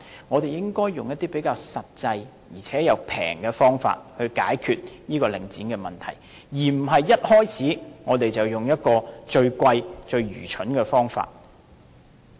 我們應該採用一些比較實際，而且又便宜的方法來解決領展的問題，而不是一開始便用最昂貴、最愚蠢的方法。